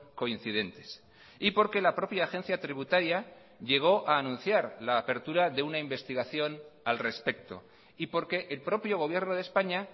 coincidentes y porque la propia agencia tributaria llegó a anunciar la apertura de una investigación al respecto y porque el propio gobierno de españa